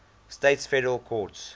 states federal courts